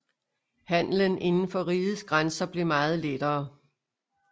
Handelen inden for rigets grænser blev meget lettere